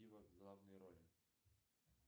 в главной роли